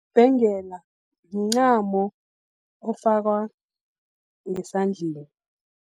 Ibhengela, mncamo ofakwa ngesandleni.